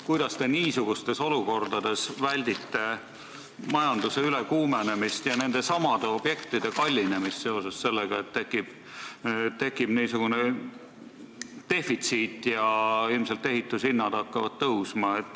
Kuidas te niisugustes olukordades väldite majanduse ülekuumenemist ja nendesamade objektide kallinemist seoses sellega, et tekib defitsiit ja ilmselt ehituse hinnad hakkavad tõusma.